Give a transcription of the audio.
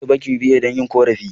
Zan je bankin UBA don yin korafi.